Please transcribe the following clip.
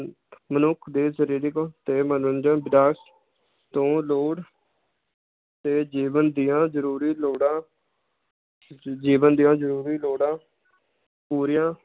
ਮਨੁੱਖ ਦੇ ਸ਼ਰੀਰਿਕ ਤੇ ਮਨੋਰੰਜਨ ਤੋਂ ਲੋੜ ਤੇ ਜੀਵਨ ਦੀਆਂ ਜਰੂਰੀ ਲੋੜਾਂ ਜ~ ਜੀਵਨ ਦੀਆਂ ਜਰੂਰੀ ਲੋੜਾਂ ਪੂਰੀਆਂ